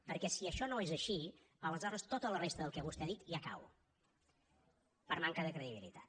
perquè si això no és així aleshores tota la resta del que vostè ha dit ja cau per manca de credibilitat